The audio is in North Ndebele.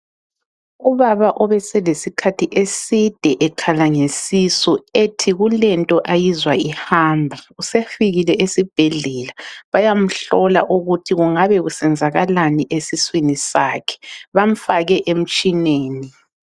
Ubaba obeselesikhathi eside ekhala ngesisu ethi kulento ayizwa ihamba usefikile esibhedlela bayamuhlola ukuthi kungabe kusenzakalani esiswini sakhe bamfake emtshineni.